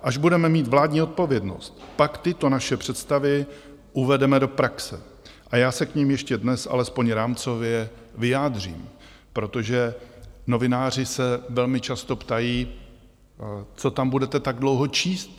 Až budeme mít vládní odpovědnost, pak tyto naše představy uvedeme do praxe a já se k nim ještě dnes alespoň rámcově vyjádřím, protože novináři se velmi často ptají: Co tam budete tak dlouho číst?